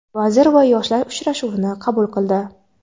vazir va yoshlar uchrashuvini qabul qildi.